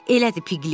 Elədir, Piklət?